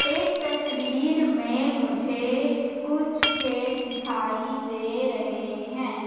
इस तस्वीर में मुझे कुछ खेत दिखाई दे रहे हैं।